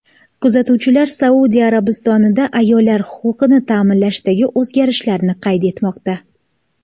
Kuzatuvchilar Saudiya Arabistonida ayollar huquqini ta’minlashdagi o‘zgarishlarni qayd etmoqda.